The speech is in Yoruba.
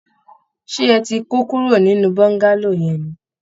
Ṣé ẹ ti kó kúrò nínú Bọ́ńgálò yẹn ni?